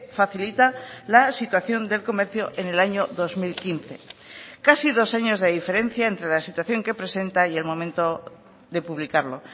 facilita la situación del comercio en el año dos mil quince casi dos años de diferencia entre la situación que presenta y el momento de publicarlo